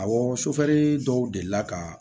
Awɔ sufɛli dɔw delila ka